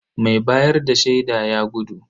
Mai bayar da shaida ya gudu.